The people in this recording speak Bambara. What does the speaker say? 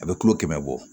A bɛ kilo kɛmɛ bɔ